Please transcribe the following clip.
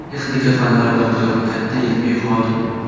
Texnika fanlari doktori, katta ilmiy xodim.